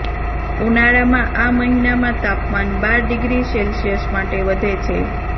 ઉનાળામાં આ મહિનામાં તાપમાન બાર ડિગ્રી સેલ્સિયસ માટે વધે છે